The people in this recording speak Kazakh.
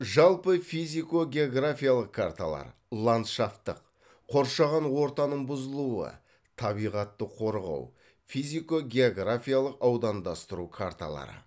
жалпы физико географиялық карталар ландшафтық қоршаған ортаның бұзылуы табиғатты қорғау физико географиялық аудандастыру карталары